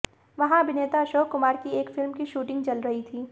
वहां अभिनेता अशोक कुमार की एक फिल्म की शूटिंग चल रही थी